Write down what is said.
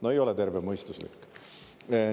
No ei ole tervemõistuslik!